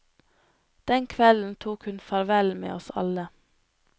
Den kvelden tok hun farvel med oss alle.